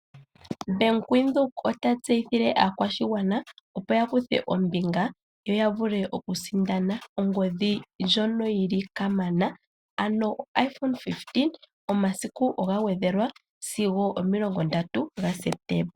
Bank Windhoek ota tseyithile aakwashigwana opo yakuthe ombinga, yo yavule okusindana ongodhi ndjono yili kamana, ano o iPhone 15, omasiku oga gwedhelwa sigo omilongo ndatu gaSeptemba.